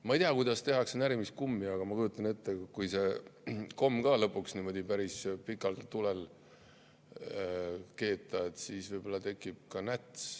Ma ei tea, kuidas tehakse närimiskummi, aga ma kujutan ette, et kui seda kommi lõpuks päris pikalt tulel keeta, siis võib-olla tekib ka näts.